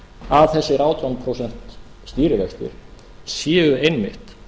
að þessir átján prósent stýrivextir sé einmitt